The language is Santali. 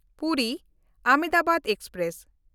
ᱯᱩᱨᱤ–ᱟᱦᱚᱢᱫᱟᱵᱟᱫ ᱮᱠᱥᱯᱨᱮᱥ